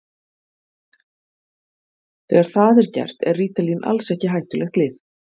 Þegar það er gert er rítalín alls ekki hættulegt lyf.